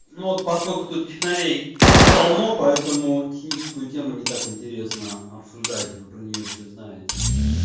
ну вот поскольку тут технарей полно поэтому техническую тему не так интересно обсуждать вы про неё всё знаете